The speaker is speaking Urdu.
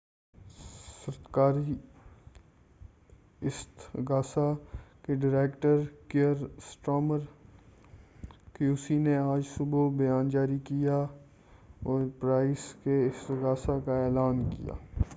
سرکاری استغاثہ کے director Keir Starmer Q C نے آج صبح بیان جاری کیا اور پرائس کے استغاثہ کا اعلان کیا